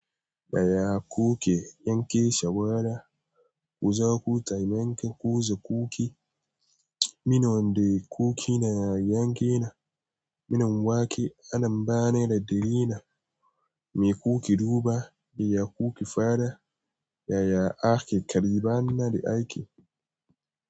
Yaya kuke yanke shawara ku zo ku taimaka ku zuba cookie. Minu wandai cookie na yanke na, minu wake ana bani da drela me cookie duba, iya cookie fara, yaya ake karɓana da ake.